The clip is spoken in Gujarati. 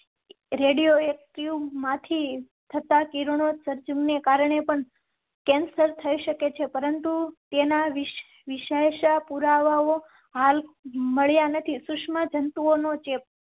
રેડિયો એક્ટિવ માંથી થતાં કિરણોત્સર્ગ ને કારણે cancer થઇ શકે છે, પરંતુ તેના વિશ્વાસ પુરાવાઓ. સુષ્મા જંતુઓ નો ચેપ